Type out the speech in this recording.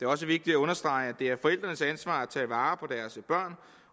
også vigtigt at understrege at det er forældrenes ansvar at tage vare på deres børn